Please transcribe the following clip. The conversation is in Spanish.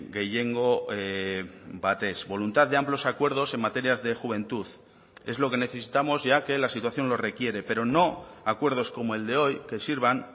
gehiengo batez voluntad de amplios acuerdos en materias de juventud es lo que necesitamos ya que la situación lo requiere pero no acuerdos como el de hoy que sirvan